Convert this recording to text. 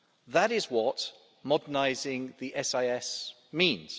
That is what modernising the SIS means.